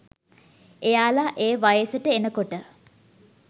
එයාල ඒ වයසට එනකොට